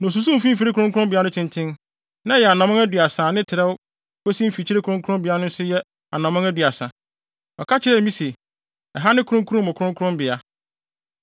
Na osusuw mfimfini kronkronbea no tenten; na ɛyɛ anammɔn aduasa na ne trɛw kosi mfikyiri kronkronbea no nso yɛ anammɔn aduasa. Ɔka kyerɛɛ me se, “Ɛha ne Kronkron Mu Kronkronbea.”